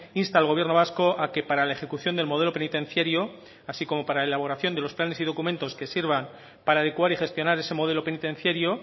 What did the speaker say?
insta al gobierno vasco a que para la ejecución del modelo penitenciario así como para la elaboración de los planes y documentos que sirvan para adecuar y gestionar ese modelo penitenciario